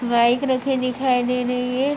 Bike रखी दिखाई दे रही है।